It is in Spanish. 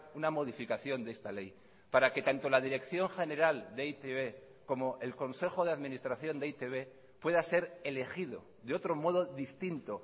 una modificación de esta ley para que tanto la dirección general de e i te be como el consejo de administración de e i te be pueda ser elegido de otro modo distinto